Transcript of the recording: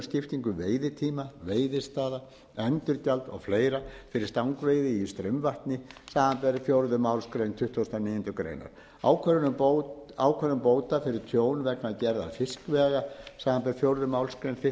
skiptingu veiðitíma veiðistaða endurgjald og fleira fyrir stangveiði í straumvatni samanber fjórðu málsgrein tuttugustu og níundu grein ákvörðun bóta fyrir tjón vegna gerðar fiskvega samanber fjórðu málsgrein þrítugustu